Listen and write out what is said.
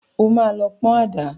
O máa lọ pọn àdá.